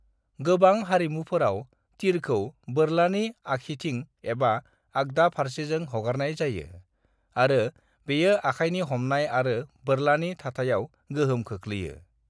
"गोबां हारिमुफोराव, तीरखौ बोरलानि आखिथिं एबा आगदा फारसेजों हगारनाय जायो, आरो बेयो आखायनि हमनाय आरो बोरलानि थाथायाव गोहोम खोख्लैयो।"